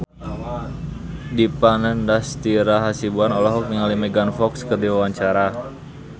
Dipa Nandastyra Hasibuan olohok ningali Megan Fox keur diwawancara